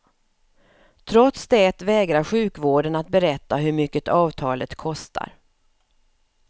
Trots det vägrar sjukvården att berätta hur mycket avtalet kostar.